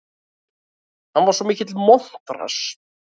Hann var svo mikill montrass.